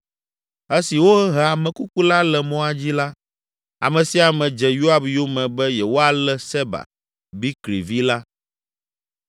Esi wohe ame kuku la le mɔa dzi la, ame sia ame dze Yoab yome be yewoalé Seba, Bikri vi la.